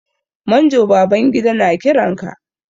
Manjo Babangida na kiran ka.